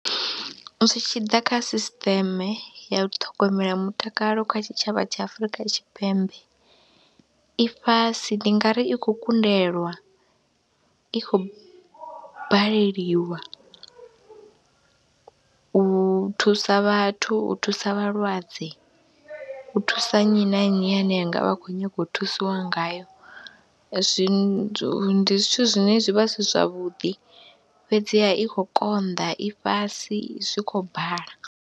Zwi tshi ḓa kha sisiṱeme ya u ṱhogomela mutakalo kha tshitshavha tsha Afrika Tshipembe i fhasi, ndi nga ri i khou kundelwa, i khou baleliwa u thusa vhathu, u thusa vhalwadze, u thusa nnyi na nnyi ane a nga vha a khou nyaga u thusiwa ngayo. Zwi ndi zwithu zwine zwi vha zwi si zwavhuḓi fhedziha i khou konḓa, i fhasi, zwi khou bala.